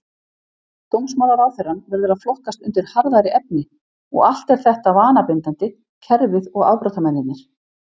Dómsmálaráðherrann verður að flokkast undir harðari efni, og allt er þetta vanabindandi, kerfið og afbrotamennirnir.